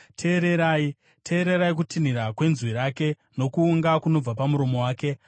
Teererai! Teererai kutinhira kwenzwi rake, nokuunga kunobva pamuromo wake.